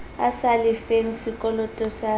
a sa lefeng sekoloto sa